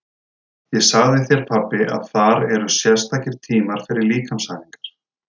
Ég sagði þér pabbi að þar eru sérstakir tímar fyrir líkamsæfingar.